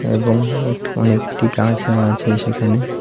এবং এটি অনেকটি গাছও আছে সেখানে।